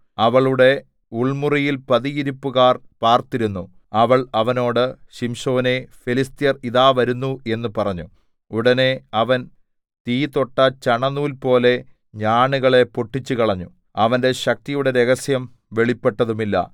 അവളുടെ ഉൾമുറിയിൽ പതിയിരിപ്പുകാർ പാർത്തിരുന്നു അവൾ അവനോട് ശിംശോനേ ഫെലിസ്ത്യർ ഇതാ വരുന്നു എന്ന് പറഞ്ഞു ഉടനെ അവൻ തീ തൊട്ട ചണനൂൽപോലെ ഞാണുകളെ പൊട്ടിച്ചുകളഞ്ഞു അവന്റെ ശക്തിയുടെ രഹസ്യം വെളിപ്പെട്ടതുമില്ല